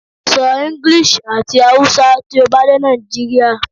Sọ English ati Hausa ti o ba de Nigeria